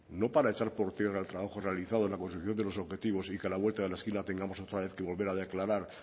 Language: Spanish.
no para echar por tierra el trabajo realizado en la consecución de los objetivos y que a la vuelta de la esquina tengamos otra vez que volver a declarar